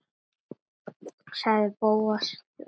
sagði Bóas þver